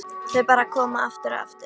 Þau bara koma, aftur og aftur.